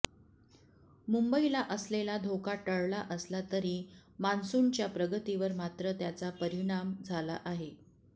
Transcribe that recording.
मुंबईला असलेला धोका टळला असला तरी मान्सूनच्या प्रगतीवर मात्र त्याचा परिणाम झाला आहे